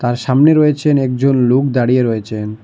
আর সামনে রয়েছেন একজন লুক দাঁড়িয়ে রয়েছেন।